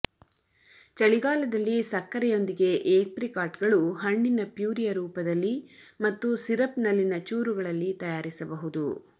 ಚಳಿಗಾಲದಲ್ಲಿ ಸಕ್ಕರೆಯೊಂದಿಗೆ ಏಪ್ರಿಕಾಟ್ಗಳು ಹಣ್ಣಿನ ಪ್ಯೂರಿಯ ರೂಪದಲ್ಲಿ ಮತ್ತು ಸಿರಪ್ನಲ್ಲಿನ ಚೂರುಗಳಲ್ಲಿ ತಯಾರಿಸಬಹುದು